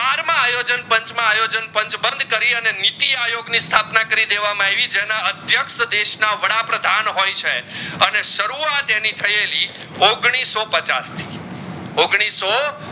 આયોજન પાંચ માં આયોજન પાંચ બંધ કરી ને નીતિ આયોગ ની સ્થાપના કરી દેવામાં આવી જેના અદ્ક્ષ્યક્ષ દેશ ના વડા પ્રધાન હોય છે અને સરુવત આની થયાલી ઓગણીસો પચાસ થી ઓગણીસો